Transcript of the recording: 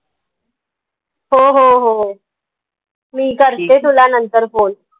हो हो होय मी तुला नंतर phone